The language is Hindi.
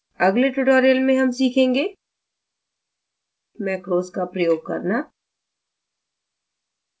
अगले tutorial में हम सीखेंगे